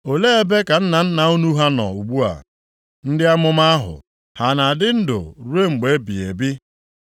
Olee ebe ka nna nna unu ha nọ ugbu a? Ndị amụma ahụ, ha na-adị ndụ ruo mgbe ebighị ebi?